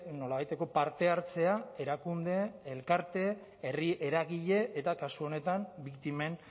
nolabaiteko parte hartzea erakunde elkarte herri eragile eta kasu honetan biktimen